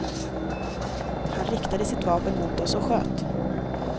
Han riktade sitt vapen mot oss och sköt.